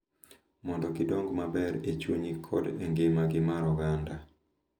Mondo gidong’ maber e chunygi kod e ngimagi mar oganda.